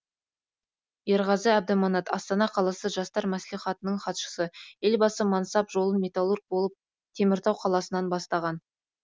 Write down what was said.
ерғазы әбдіманат астана қаласы жастар мәслихатының хатшысы елбасы мансап жолын металлург болып теміртау қаласынан бастаған